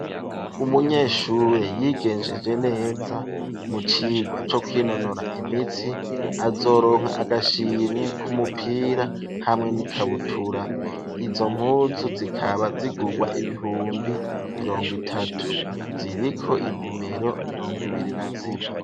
Umunyeshure, yigenjeje neza, mu cigwa co kwinonora imitsi, azoronka agashimwe, k'umupira, hamwe n'ikabutura; izo mpunzu, zikaba zigurwa, ibihumbi mirongo itatu; ziriko inimero, mirongo ibiri na zine.